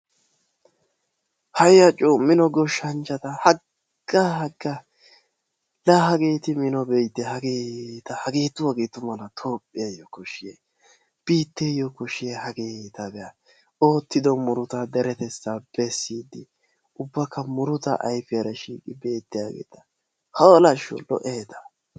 Hayya coo Mino goshshanchchata haggaa haggaa laa Hageeti Mino be'ite! Be'a hageeta! Hageetu hageetu malaa tophphiyayyoo koshshiyay! Biitteeyyo koshshiyay hageeta be'a. Oottido murutaa deretettaappe siyidi ubbakka murutaa ayifiyara shiiqiyageeta. Hoolashsho! Lo'eeta.